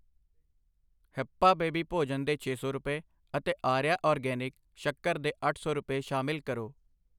Hepa baby ਭੋਜਨ ਦੇ ਛੇ ਸੌ ਰੁਪਏ, ਅਤੇ ਆਰੀਆ ਆਰਗੈਨਿਕ, ਸੱਕਰ ਦੇ ਅੱਠ ਸੌ ਰੁਪਏ, ਸ਼ਾਮਿਲ ਕਰੋ।